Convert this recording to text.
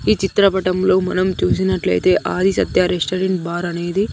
ఈ చిత్రపటంలో మనం చూసినట్లయితే ఆది సత్య రెస్టారెంట్ బార్ అనేది.